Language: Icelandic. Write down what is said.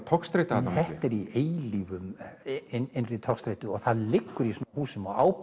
togstreita þarna þetta er í eilífri togstreitu og það liggur í svona húsum og á